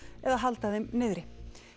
eða halda þeim niðri